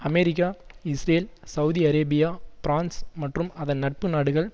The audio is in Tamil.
America Israel Saudi Arabia France மற்றும் அதன் நட்பு நாடுகள்